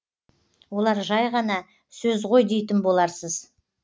олар жай ғана сөз ғой дейтін боларсыз